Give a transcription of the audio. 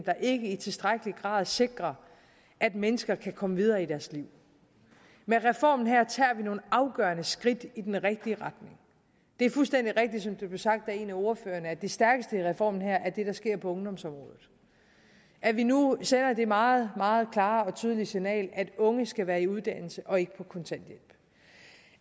der ikke i tilstrækkelig grad sikrer at mennesker kan komme videre i deres liv med reformen her tager vi nogle afgørende skridt i den rigtige retning det er fuldstændig rigtigt som det blev sagt af en af ordførerne at det stærkeste ved reformen her er det der sker på ungdomsområdet at vi nu sender det meget meget klare og tydelige signal at unge skal være i uddannelse og ikke på kontanthjælp